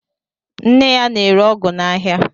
Nne ya na-ere ọgụ n'aha.